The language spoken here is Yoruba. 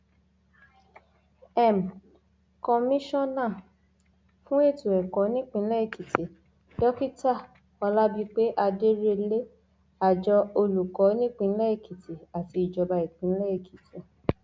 m komisanna fún ètò ẹkọ nípínlẹ èkìtì dókítà olábìpé adérílé àjọ olùkọ nípínlẹ èkìtì àti ìjọba ìpínlẹ èkìtì